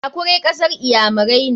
Akure kasar iyamirai ne.